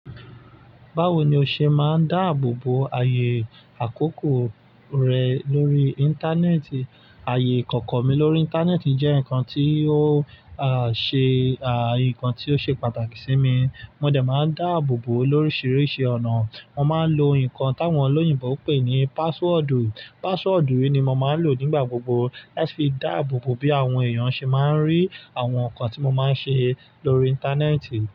Báwo ni o ṣe máa ń dáàbò bo ayé àkókò rẹ lórí Íńtánẹ́ẹ̀tì? Ayé ìkọ̀kọ̀ mi lórí Íńtánẹ́ẹ̀tì jẹ́ nǹkan tí ó, à, ṣe, à, nǹkan tí ó ṣe pàtàkì sí mi. Mo dẹ̀ máa ń dáàbò bo lórisìíríṣìí ọ̀nà. Mo máa ń lo nǹkan táwọn olóyìnbo ń pè ní password. Password yìí ni mo máa ń lò nígbà gbogbo, ẹ fi dáàbò bo bí àwọn èèyàn ṣe máa ń rí àwọn nǹkan tí mo máa ń ṣe lórí Íńtánẹ́ẹ̀tì.